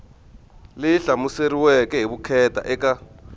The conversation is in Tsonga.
leyi hlamuseriweke hi vukheta eka